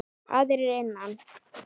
Aðrir innan